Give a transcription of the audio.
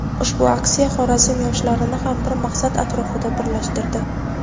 Ushbu aksiya Xorazm yoshlarini ham bir maqsad atrofida birlashtirdi.